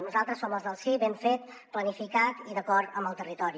nosaltres som els del sí ben fet planificat i d’acord amb el territori